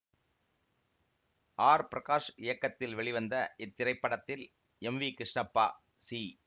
R Prakash இயக்கத்தில் வெளிவந்த இத்திரைப்படத்தில் எம் வி கிருஷ்ணப்பா சி